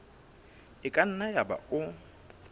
e ka nna yaba o